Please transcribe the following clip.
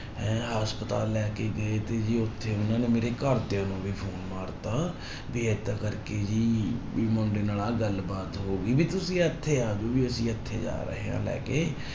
ਹੈਂ ਹਸਪਤਾਲ ਲੈ ਕੇ ਗਏ ਤੇ ਜੀ ਉੱਥੇ ਉਹਨਾਂ ਨੇ ਮੇਰੇ ਘਰਦਿਆਂ ਨੂੰ ਵੀ ਫ਼ੋਨ ਮਾਰ ਦਿੱਤਾ ਵੀ ਏਦਾਂ ਕਰਕੇ ਜੀ ਵੀ ਮੁੰਡੇ ਨਾਲ ਆਹ ਗੱਲ ਬਾਤ ਹੋ ਗਈ ਵੀ ਤੁਸੀਂ ਇੱਥੇ ਆ ਜਾਓ ਵੀ ਅਸੀਂ ਇੱਥੇ ਜਾ ਰਹੇ ਹਾਂ ਲੈ ਕੇ।